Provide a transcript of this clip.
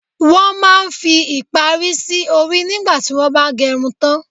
Wọn máa ń fi ìparí sì orí nígbà tí wọn ba gerun tan.